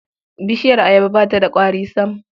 Bishiyar ayaba ba ta da ƙwari sam.